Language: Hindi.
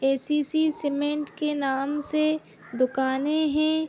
ए सी सी सीमेंट के नाम से दुकाने हें।